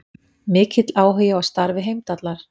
Mikill áhugi á starfi Heimdallar